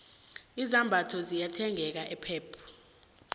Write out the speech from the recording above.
izambatho ziyathengeka epep